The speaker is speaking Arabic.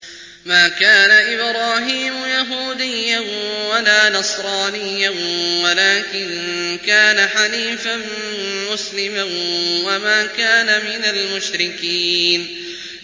مَا كَانَ إِبْرَاهِيمُ يَهُودِيًّا وَلَا نَصْرَانِيًّا وَلَٰكِن كَانَ حَنِيفًا مُّسْلِمًا وَمَا كَانَ مِنَ الْمُشْرِكِينَ